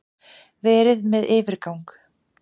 Verið með yfirgang.